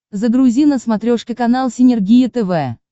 загрузи на смотрешке канал синергия тв